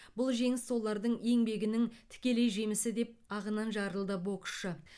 бұл жеңіс солардың еңбегінің тікелей жемісі деп ағынан жарылды боксшы